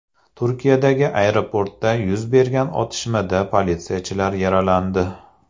Turkiyadagi aeroportda yuz bergan otishmada politsiyachilar yaralandi.